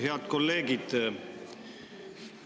Head kolleegid!